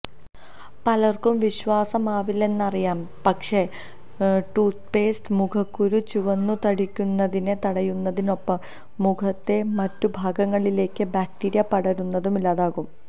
പലർക്കും വിശ്വാസമാവില്ലെന്നറിയാം പക്ഷേ ടൂത്പേസ്റ്റ് മുഖക്കുരു ചുവന്നുതടിക്കുന്നതിനെ തടയുന്നതിനൊപ്പം മുഖത്തെ മറ്റു ഭാഗങ്ങളിലേക്ക് ബാക്റ്റീരിയ പടരുന്നതും ഇല്ലാതാക്കും